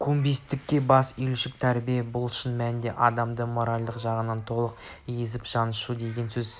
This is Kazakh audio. көнбістікке бас июшілікке тәрбиелеу бұл шын мәнінде адамды моральдық жағынан толық езіп-жаншу деген сөз